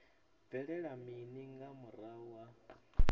bvelela mini nga murahu ha